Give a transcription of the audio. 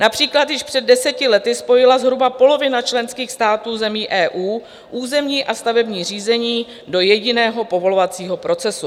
Například již před deseti lety spojila zhruba polovina členských států zemí EU územní a stavební řízení do jediného povolovacího procesu.